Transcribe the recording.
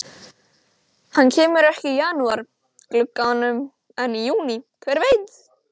Hann kemur ekki í janúar glugganum en í júní, hver veit?